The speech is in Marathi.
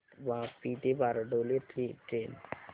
वापी ते बारडोली ची ट्रेन